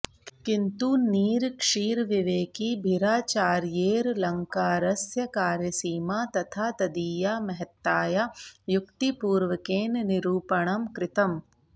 किन्तु नीरक्षीरविवेकि भिराचार्यैरलङ्कारस्य कार्यसीमा तथा तदीया महत्तायाः युक्तिपूर्वकेन निरूपणं कृतम्